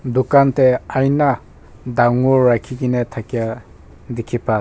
Tugan tey aina dangor rakhe kena thakeya dekhe pa se--